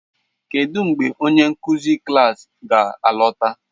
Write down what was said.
Kedu mgbe onye nkuzi klas ga-alọta?